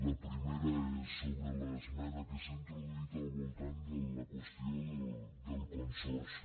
la primera és sobre l’esmena que s’ha introduït al voltant de la qües·tió del consorci